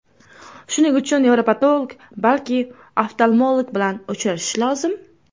Shuning uchun nevropatolog, balki oftalmolog bilan uchrashish lozim.